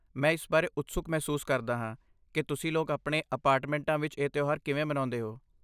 ਮੈਂ ਇਸ ਬਾਰੇ ਉਤਸੁਕ ਮਹਿਸੂਸ ਕਰਦਾ ਹਾਂ ਕਿ ਤੁਸੀਂ ਲੋਕ ਆਪਣੇ ਅਪਾਰਟਮੈਂਟਾਂ ਵਿੱਚ ਇਹ ਤਿਉਹਾਰ ਕਿਵੇਂ ਮਨਾਉਂਦੇ ਹੋ।